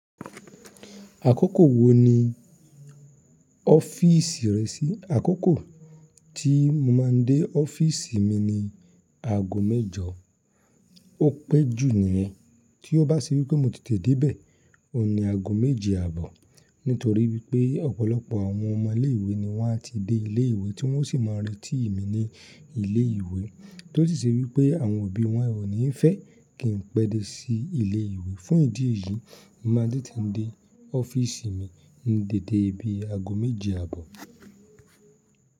Àkókò wo ni ọ́fìsì rẹ sí? Àkókò tí mo máa ń dé ọ́fìsì mi ni aago mẹ́jọ, ó pé jù níyẹn. Tí ó bá sì wípé mo tètè dé bẹ̀, ó ní aago méje àbọ̀. Nítorí wípé ọ̀pọ̀lọpọ̀ àwọn ọmọ ilé ìwé ni wọ́n á ti dé ilé ìwé tí wọ́n ó sì máa retí mi ní ilé ìwé, tó sì ṣe wípé àwọn òbí wọn ò ní fẹ́ kí n pẹ́ dé sí ilé ìwé. Fún ìdí yìí, mo máa tètè dé ọ́fìsì mi ní dédé ibi aago méje àbọ̀.